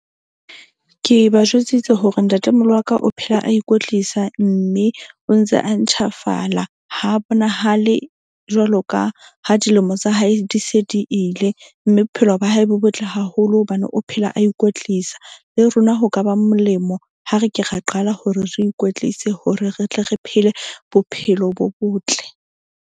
Ke ba jwetsitse hore ntatemoholo wa ka o phela, a ikwetlisa mme o ntse a ntjhafala. Ha bonahale jwalo ka ha dilemo tsa hae di se di ile. Mme bophelo ba hae bo botle haholo. Hobane o phela a ikwetlisa le rona ho kaba molemo. Ha re ke ra qala hore re ikwetlise hore re tle re phele bophelo bo botle.